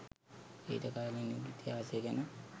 ඊට කලින් ඉතිහාසය ගැන